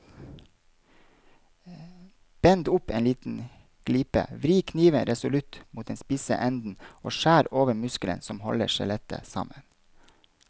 Bend opp en liten glipe, vri kniven resolutt mot den spisse enden og skjær over muskelen som holder skjellet sammen.